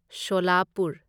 Solapur